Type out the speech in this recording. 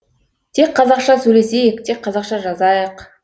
тек қазақша сөйлесейік тек қазақша жазайық